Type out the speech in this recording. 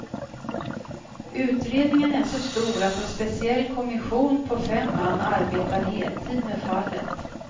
Utredningen är så stor att en speciell kommission på fem man arbetar heltid med fallet.